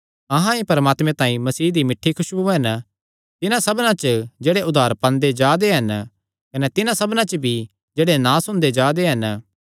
अहां ई परमात्मे तांई मसीह दी मिठ्ठी खुसबु हन तिन्हां सबना च जेह्ड़े उद्धार पांदे जा दे हन कने तिन्हां सबना च भी जेह्ड़े नास हुंदे जा दे हन